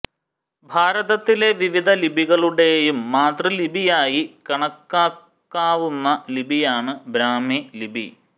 ഭാരതത്തിലെ വിവിധ ലിപികളുടെയും മാതൃലിപിയായി കണക്കാക്കാവുന്ന ലിപിയാണ് ബ്രാഹ്മി ലിപി